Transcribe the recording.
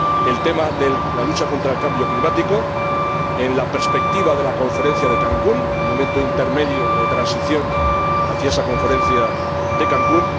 El tema de la lucha contra el cambio climático, en la perspectiva de la Conferencia de Cancún, en un momento intermedio de transición hacia esa Conferencia de Cancún